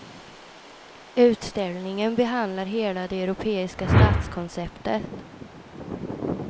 Utställningen behandlar hela det europeiska stadskonceptet.